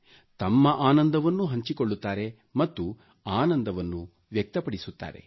ತಮ್ಮ ಆನಂದವನ್ನೂ ಹಂಚಿಕೊಳ್ಳುತ್ತಾರೆ ಮತ್ತು ಆನಂದವನ್ನು ವ್ಯಕ್ತಪಡಿಸುತ್ತಾರೆ